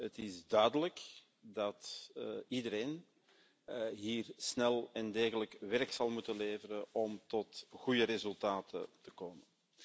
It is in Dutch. Het is duidelijk dat iedereen hier snel en degelijk werk zal moeten leveren om tot goede resultaten te komen.